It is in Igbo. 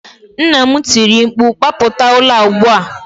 Nna m tiri mkpu, gbapụta ụlọ a ugbu a!